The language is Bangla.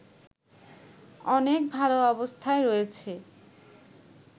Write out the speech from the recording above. অনেক ভালো অবস্থায় রয়েছে